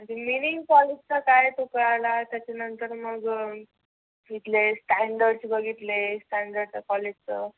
meaning कॉलेजचा कळाला. त्याच्यानंतर मग इथले स्टॅंडर्ड बघितले. स्टॅंडर्ड कॉलेजचं.